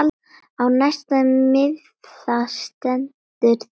Á næsta miða stendur þetta